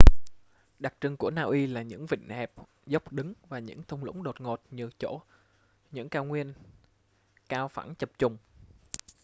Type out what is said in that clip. đặc trưng của na uy là những vịnh hẹp dốc đứng và những thung lũng đột ngột nhường chỗ những cao nguyên cao phẳng chập chùng